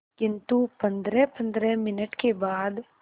किंतु पंद्रहपंद्रह मिनट के बाद